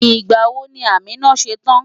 Ìgbà wo ni Amina ṣe tán?